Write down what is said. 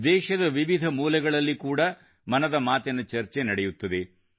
ದೇಶದ ವಿವಿಧ ಮೂಲೆ ಮೂಲೆಗಳಲ್ಲಿ ಕೂಡಾ ಮನದ ಮಾತಿನ ಚರ್ಚೆ ನಡೆಯುತ್ತದೆ